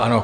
Ano.